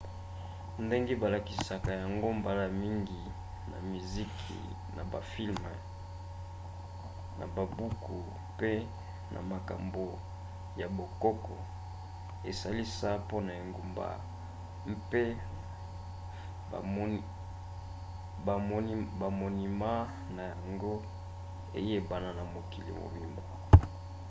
ndenge balakisaka yango mbala mingi na miziki na bafilme na babuku mpe na makambo ya bokoko esalisa mpo engumba mpe bamonima na yango eyebana na mokili mobimba